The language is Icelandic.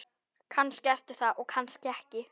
Kannski ertu það og kannski ekki.